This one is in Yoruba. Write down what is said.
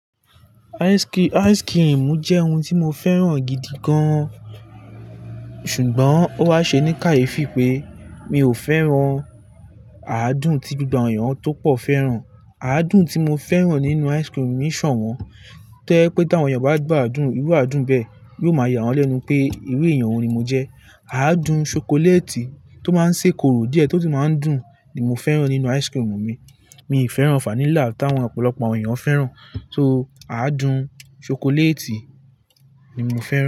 Ice cream jẹ́ oun tí mo fẹ́ràn gidi gan-an, ṣùgbọ́n ó wá ṣe ní kàyé fi pé mi ò fẹ́ràn àádùn tí gbogbo àwọn èèyàn tó pọ̀ fẹ́ràn. Àádùn tí mo fẹ́ràn nínú ice cream mi ṣọ̀wọ́n. Tó yẹ pé tí àwọn èèyàn bá gbàdùn irú àádùn bẹ́ẹ̀, yóò máa yà wọ́n lẹ́nu pé irú èèyàn wo ni mo jẹ́. Àádùn ṣokoléètì tó máa ń ṣe korò díẹ̀ tótí máa ń dùn ni mo fẹ́ràn nínú ice cream mi. Mi ì fẹ́ràn vanilla táwọn ọ̀pọ̀lọpọ̀ àwọn èèyàn fẹ́ràn. So àádùn ṣokoléètì ni mo fẹ́ràn.